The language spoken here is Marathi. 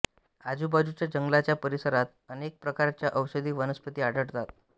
आजुबाजूच्या जंगलाच्या परिसरात अनेक प्रकारच्या औषधी वनस्पती आढळतात